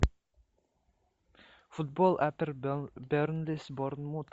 футбол апл бернли с борнмут